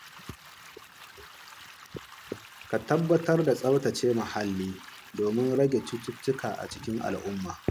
Ka tabbatar da tsaftace mahalli domin rage cututtuka a cikin al’umma.